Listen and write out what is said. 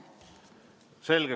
Selge.